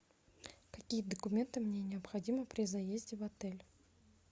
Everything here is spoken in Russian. какие документы мне необходимы при заезде в отель